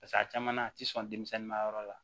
Paseke a caman a tɛ sɔn denmisɛnnin ma yɔrɔ la